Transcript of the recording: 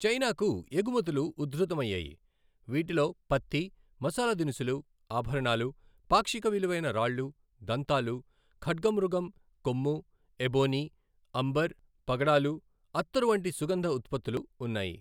చైనాకు ఎగుమతులు ఉధృతం అయ్యాయి, వీటిలో పత్తి, మసాలా దినుసులు, ఆభరణాలు, పాక్షిక విలువైన రాళ్ళు, దంతాలు, ఖడ్గమృగం కొమ్ము, ఎబోనీ, అంబర్, పగడాలు, అత్తరు వంటి సుగంధ ఉత్పత్తులు ఉన్నాయి.